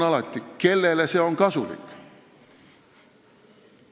Alati on küsimus, kellele see kasulik on.